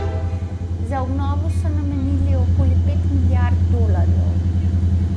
Za obnovo so namenili okoli pet milijard dolarjev.